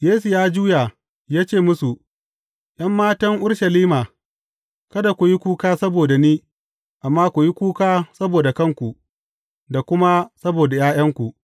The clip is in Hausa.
Yesu ya juya, ya ce musu, ’Yan matan Urushalima, kada ku yi kuka saboda ni, amma ku yi kuka saboda kanku, da kuma saboda ’ya’yanku.